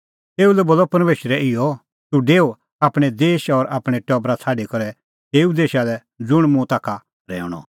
तेऊ लै बोलअ परमेशरै इहअ तूह डेऊ आपणैं देश और आपणैं टबरा छ़ाडी करै तेऊ देशा लै ज़ुंण मुंह ताखा रहैऊंणअ